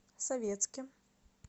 советске